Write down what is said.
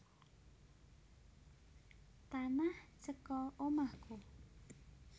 Tanah Ceko omahku